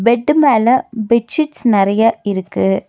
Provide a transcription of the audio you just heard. Bed மேல bedsheets நறைய இருக்கு.